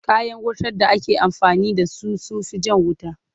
Kayan wutar da ake amfani da su da sun fi jan wuta.